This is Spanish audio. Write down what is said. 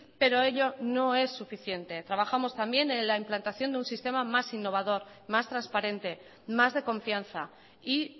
pero ello no es suficiente trabajamos también en la implantación de un sistema más innovador más transparente más de confianza y